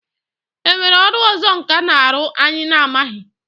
E nwere ọrụ ọzọ nkà na-arụ anyị na-amaghị?